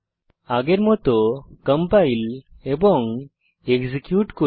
আগের মত কম্পাইল এবং এক্সিকিউট করি